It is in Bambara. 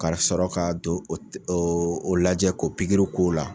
Ka sɔrɔ k'a don o o lajɛ k'o pigiri k'o la